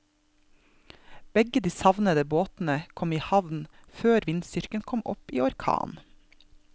Begge de savnede båtene kom i havn før vindstyrken kom opp i orkan.